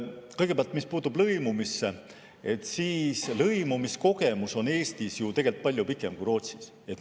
Kõigepealt, mis puutub lõimumisse, siis lõimumiskogemus on Eestis ju tegelikult palju pikem kui Rootsis.